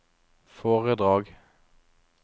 foredrag